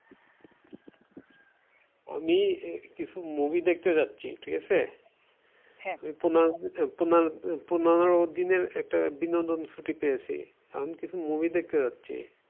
আমি কিছু movie দেখতে যাচ্ছি ঠিক আছে, পনেরো পনেরো দিনের একটা বিনোদন ছুটিতে পেয়েছি। আমি কিছু movie দেখতে যাচ্ছি।